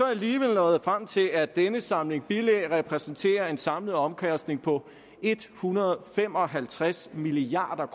alligevel nåede frem til at denne samling bilag repræsenterer en samlet omkostning på en hundrede og fem og halvtreds milliard